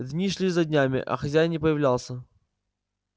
дни шли за днями а хозяин не появлялся